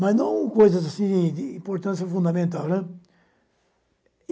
Mas não coisas de importância fundamental, né.